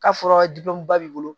K'a fɔra ba b'i bolo